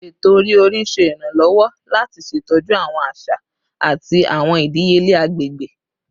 Eto-ori-ori ṣe iranlọwọ lati ṣetọju awọn aṣa ati awọn idiyele agbegbe